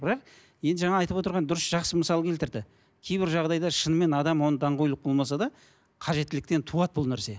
бірақ енді жаңа айтып отырған дұрыс жақсы мысал келтірді кейбір жағдайда шынымен адам оны даңғойлық болмаса да қажеттіліктен туады бұл нәрсе